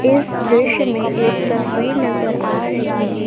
इस दृश्य में एक तस्वीर नजर आ रही --